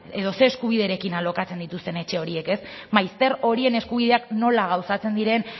edo zer eskubiderekin alokatzen dituzten etxe horiek ez maizter horien eskubideak nola gauzatzen diren